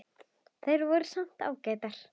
Þær voru svo sem ágætar.